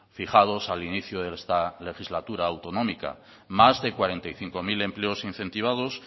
fijados al inicio de esta legislatura autonómica más de cuarenta y cinco mil empleos incentivados